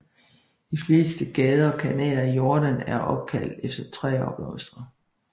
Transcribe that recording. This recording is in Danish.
De fleste gader og kanaler i Jordaan er opkaldt efter træer og blomster